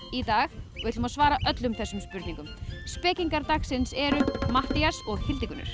í dag og ætlum að svara öllum þessum spurningum spekingar dagsins eru Matthías og Hildigunnur